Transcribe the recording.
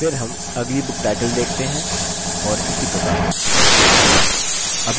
फिर हम अगली book title देखते हैं और इसी प्रकार से